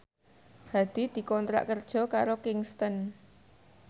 Hadi dikontrak kerja karo Kingston